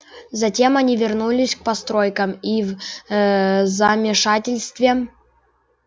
затем они вернулись к постройкам и в ээ замешательстве